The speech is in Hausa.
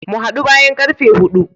Mu hadu bayan karfe hudu.